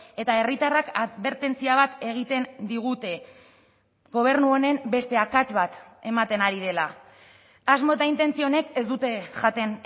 eta herritarrak adbertentzia bat egiten digute gobernu honen beste akats bat ematen ari dela asmo eta intentzio onek ez dute jaten